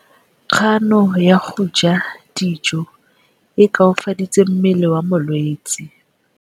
Kganô ya go ja dijo e koafaditse mmele wa molwetse.